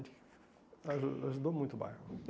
Aju ajudou muito o bairro.